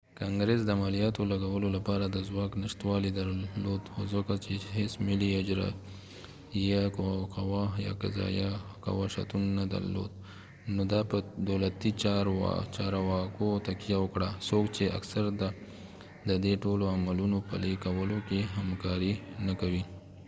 کانګرس د مالیاتو لګولو لپاره د ځواک نشتوالې درلود او ځکه چې هیڅ ملي اجراییه قوه یا قضایه قوه شتون نه درلود نو دا په دولتي چارواکو تکیه وکړه څوک چې اکثراً د دې ټولو عملونو پلي کولو کې همکاري نه کوي